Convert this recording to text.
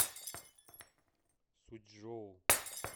сучжоу